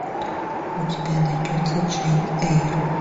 у тебя найдется джейн эйр